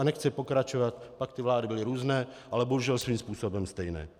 A nechci pokračovat, pak ty vlády byly různé, ale bohužel svým způsobem stejné.